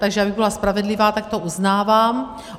Takže abych byla spravedlivá, tak to uznávám.